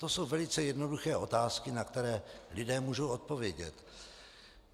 To jsou velice jednoduché otázky, na které lidé můžou odpovědět.